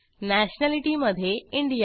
nationality मध्ये India